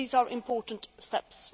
These are important steps.